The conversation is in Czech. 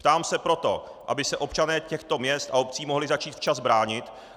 Ptám se proto, aby se občané těchto měst a obcí mohli začít včas bránit.